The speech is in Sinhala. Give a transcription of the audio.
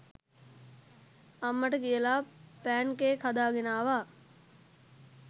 අම්මට කියලා පෑන්කේක් හදාගෙන ආවා